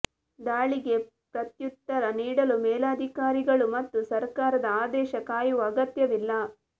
ದಾಳಿಗೆ ಪ್ರತ್ತ್ಯುತ್ತರ ನೀಡಲು ಮೇಲಾಧಿಕಾರಿಗಳು ಮತ್ತು ಸರ್ಕಾರದ ಆದೇಶ ಕಾಯುವ ಅಗತ್ಯವಿಲ್ಲ